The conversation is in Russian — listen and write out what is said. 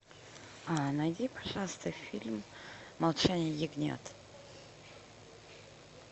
а найди пожалуйста фильм молчание ягнят